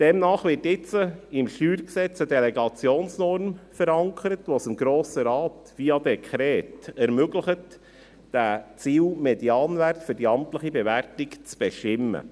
Demnach wird jetzt im StG eine Delegationsnorm verankert, welche es dem Grossen Rat via Dekret ermöglicht, diesen Ziel-Medianwert für die amtliche Bewertung zu bestimmen.